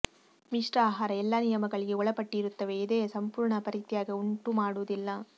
ಮಿಶ್ರ ಆಹಾರ ಎಲ್ಲಾ ನಿಯಮಗಳಿಗೆ ಒಳಪಟ್ಟಿರುತ್ತವೆ ಎದೆಯ ಸಂಪೂರ್ಣ ಪರಿತ್ಯಾಗ ಉಂಟುಮಾಡುವುದಿಲ್ಲ